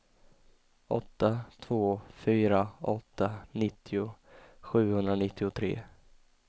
åtta två fyra åtta nittio sjuhundranittiotre